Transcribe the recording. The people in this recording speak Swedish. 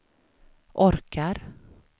orkar